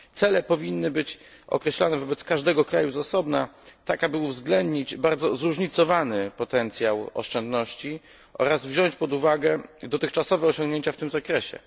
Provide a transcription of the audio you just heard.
Cele powinny być określane wobec każdego kraju z osobna tak, aby uwzględnić bardzo zróżnicowany potencjał oszczędności oraz wziąć pod uwagę dotychczasowe osiągnięcia w tym zakresie.